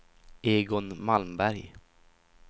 Egon Malmberg